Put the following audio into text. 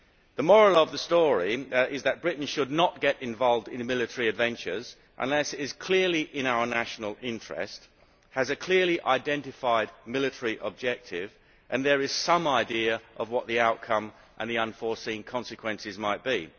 The moral of the story is that Britain should not get involved in military adventures unless it is clearly in our national interest, has a clearly identified military objective and there is some idea of what the outcome and the unforeseen consequences might be.